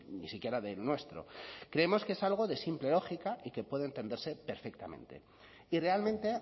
ni siquiera del nuestro creemos que es algo de simple lógica y que puede entenderse perfectamente y realmente